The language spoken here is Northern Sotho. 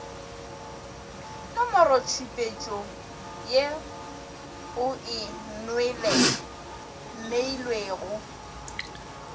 nomorotšhupetšo ye o e neilwego